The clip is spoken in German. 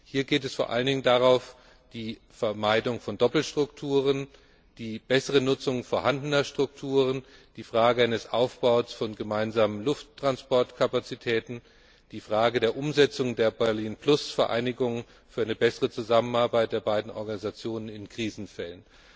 Hier geht es vor allen Dingen um die Vermeidung von Doppelstrukturen, die bessere Nutzung vorhandener Strukturen, die Frage des Aufbaus von gemeinsamen Lufttransportkapazitäten, die Frage der Umsetzung der Berlin Plus Vereinbarungen für eine bessere Zusammenarbeit der beiden Organisationen in Krisenfällen.